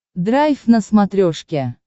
драйв на смотрешке